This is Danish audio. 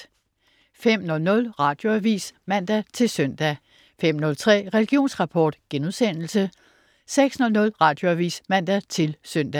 05.00 Radioavis (man-søn) 05.03 Religionsrapport* 06.00 Radioavis (man-søn)